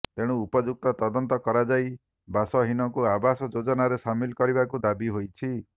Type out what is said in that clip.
ତେଣୁ ଉପଯୁକ୍ତ ତଦନ୍ତ କରାଯାଇ ବାସହୀନଙ୍କୁ ଆବାସ ଯୋଜନାରେ ସାମିଲ କରିବାକୁ ଦାବି ହୋଇଛି